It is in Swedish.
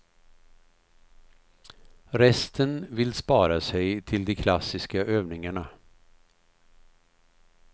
Resten vill spara sig till de klassiska övningarna.